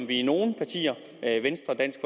vi er nogle partier venstre dansk